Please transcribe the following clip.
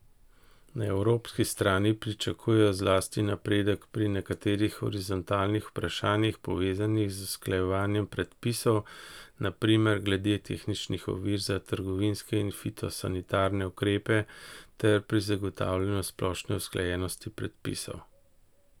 Na evropski strani pričakujejo zlasti napredek pri nekaterih horizontalnih vprašanjih, povezanih z usklajevanjem predpisov, na primer glede tehničnih ovir za trgovinske in fitosanitarne ukrepe, ter pri zagotavljanju splošne usklajenosti predpisov.